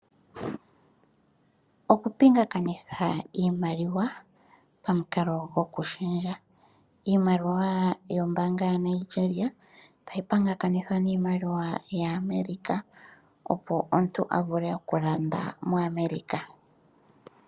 Oku pingakanitha iimaliwa pamukalo goku shendja. Iimaliwa yombaanga ya Nigeria ta yi pingakanithwa niimaliwa ya America opo omuntu a vule okulanda mo America.